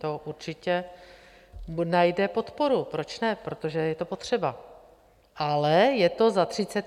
To určitě najde podporu - proč ne, protože je to potřeba, ale je to za 35 miliard.